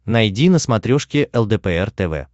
найди на смотрешке лдпр тв